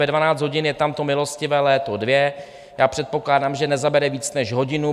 Ve 12 hodin je tam to milostivé léto 2, já předpokládám, že nezabere víc než hodinu.